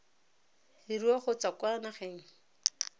leruo go tswa kwa nageng